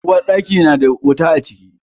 Uwarɗaki na da wuta a ciki.